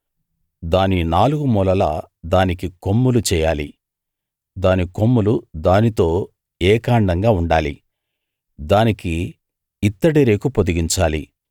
దాని నాలుగు మూలలా దానికి కొమ్ములు చెయ్యాలి దాని కొమ్ములు దానితో ఏకాండంగా ఉండాలి దానికి ఇత్తడి రేకు పొదిగించాలి